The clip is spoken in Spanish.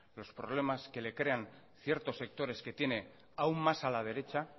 los problemas que le crean ciertos sectores que tiene aún más a la derecha